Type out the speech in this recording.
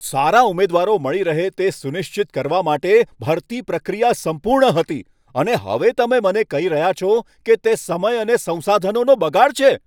સારા ઉમેદવાર મળી રહે તે સુનિશ્ચિત કરવા માટે ભરતી પ્રક્રિયા સંપૂર્ણ હતી, અને હવે તમે મને કહી રહ્યા છો કે તે સમય અને સંસાધનોનો બગાડ છે.